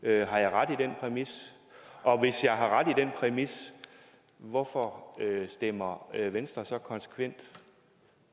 jeg ret i den præmis og hvis jeg har ret i den præmis hvorfor stemmer venstre så konsekvent